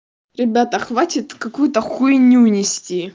ребята хватит какую-то хуйню нести